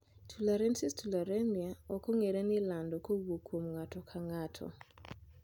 tularensis Tularemia ok ong'ere ni lando kowuok kuom ng'ato ka ng'ato.